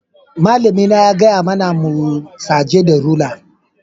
Malami na ya gaya mana mu saje da rula.